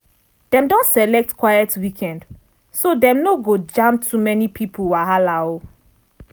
dem don select quiet weekend so dem no go jam too many pipo wahala.